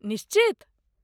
निश्चित!